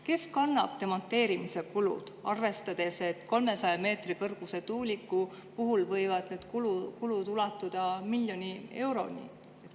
Kes kannab demonteerimise kulud, arvestades, et 300 meetri kõrguse tuuliku puhul võivad need kulud ulatuda miljoni euroni?